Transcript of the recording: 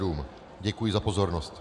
Děkuji za pozornost.